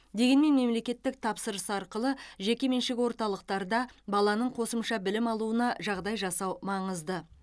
дегенмен мемлекеттік тапсырыс арқылы жекеменшік орталықтарда баланың қосымша білім алуына жағдай жасау маңызды